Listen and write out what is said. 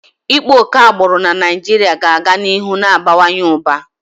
Ịkpa oke agbụrụ na Naịjirịa ga-aga n'ihu na-abawanye ụba.